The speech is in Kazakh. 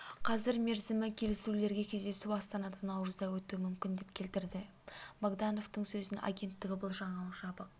қазір мерзімі келісілуде кездесу астанада наурызда өтуі мүмкін деп келтіредім богдановтың сөзін агенттігі бұл жаңалық жабық